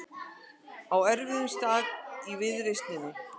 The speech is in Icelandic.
Á erfiðum stað í viðreisninni